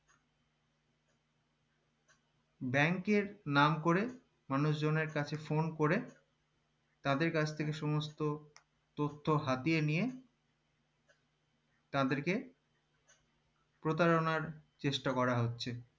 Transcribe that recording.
bank এর নাম করে মানুষজনের কাছে phone করে তাদের কাছ থেকে সমস্ত তথ্য হাতিয়ে নিয়ে তাদেরকে প্রতারণার চেষ্টা করা হচ্ছে